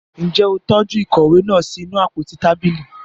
Njẹ o tọju ìkòwé náà sí inú àpótí tábìlì?